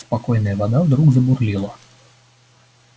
спокойная вода вдруг забурлила